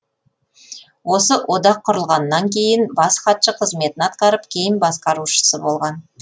осы одақ құрылғаннан кейін бас хатшы қызметін атқарып кейін басқарушысы болған